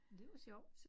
Men det var sjovt